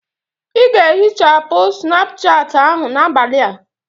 Ị ga-ehichapụ Snapuchati ahụ n'abalị a!